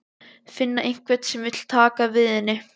Finna einhvern sem vill taka við henni.